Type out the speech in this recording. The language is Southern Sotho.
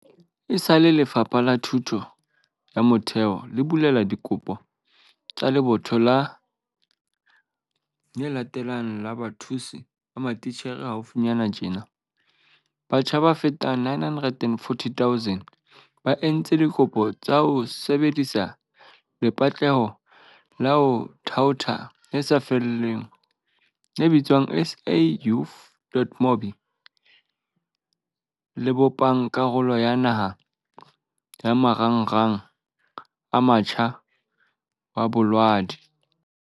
Esale Lefapha la Thuto ya Motheo le bulela dikopo tsa lebotho le latelang la bathusi ba matitjhere haufinyana tjena, batjha ba fetang 940 000 ba entse dikopo ka ho sebe disa lepatlelo la ho thaotha le sa lefellweng le bitswang SA Youth.mobi, le bopang karolo ya naha ya Marangrang a Motjha wa Bolaodi.